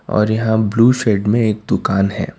और यहां blue shade में एक दुकान है।